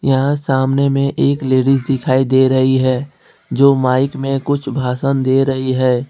यहां सामने में एक लेडिस दिखाई दे रही है जो माइक में कुछ भाषण दे रही है।